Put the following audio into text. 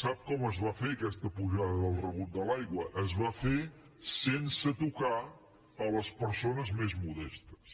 sap com es va fer aquesta pujada del rebut de l’aigua es va fer sense tocar les persones més modestes